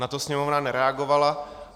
Na to Sněmovna nereagovala.